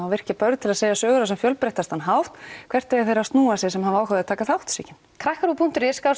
að virkja börn til að segja sögur á sem fjölbreyttastan hátt hvert eiga þeir að snúa sér sem hafa áhuga á að taka þátt Sigyn krakkaRÚV punktur is